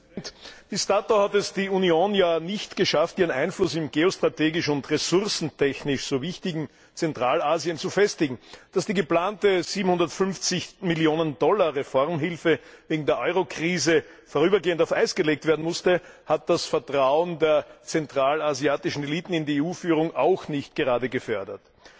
Herr Präsident! Bis dato hat es die Union ja nicht geschafft, ihren Einfluss im geostrategisch und ressourcentechnisch so wichtigen Zentralasien zu festigen. Dass die geplante 750 Millionen Dollar Reformhilfe wegen der Eurokrise vorübergehend auf Eis gelegt werden musste, hat das Vertrauen der zentralasiatischen Eliten in die EU Führung auch nicht gerade gefördert.